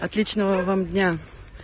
отличного вам дня